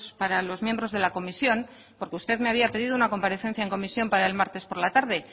para los miembros de la comisión porque usted me había pedido una comparecencia en comisión para el martes por la tarde